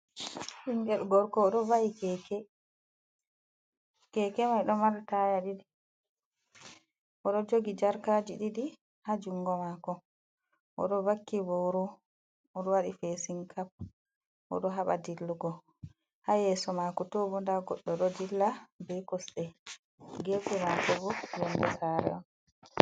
Ɓingel gorko oɗo va’i keke, keke mai ɗo mari taya ɗiɗi, oɗo jogi jarkaji ɗiɗi ha jungo mako, oɗo vaki boro oɗo waɗi fesin kap oɗo haɓa dillugo, ha yeso mako to bo nda goɗɗo ɗo dilla be kosɗe, gefe mako bo yonde sare on.